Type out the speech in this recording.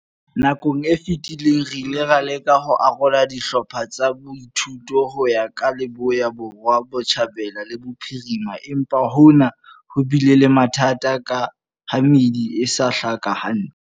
Nakong e fetileng re ile ra leka ho arola dihlopha tsa boithuto ho ya ka Leboya, Borwa, Botjhabela le Bophirimela, empa hona ho bile le mathata ka ha meedi e sa hlaka hantle.